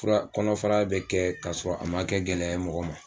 Fura kɔnɔfara bɛ kɛ k'a sɔrɔ, a ma kɛ gɛlɛya ye mɔgɔ ma.